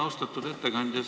Austatud ettekandja!